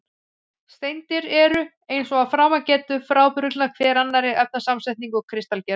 Steindir eru, eins og að framan getur, frábrugðnar hver annarri að efnasamsetningu og kristalgerð.